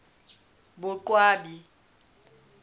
boqwabi